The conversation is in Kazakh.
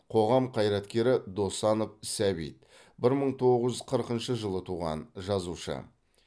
қоғам қайраткері досанов сәбит бір мың тоғыз жүз қырқыншы жылы туған жазушы